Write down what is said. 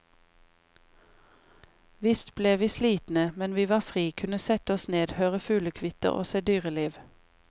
Visst ble vi slitne, men vi var fri, kunne sette oss ned, høre fuglekvitter og se dyreliv.